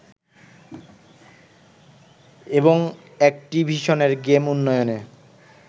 এবং অ্যাকটিভিশনের গেম উন্নয়নে